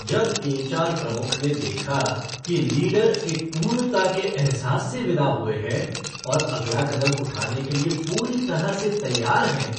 जब एच.आर. प्रमुख ने देखा कि लीडर एक पूर्णता के अहसाए से विदा हुए हैं और अगला कदम उठाने के लिए पूरी तरह से तैयार हैं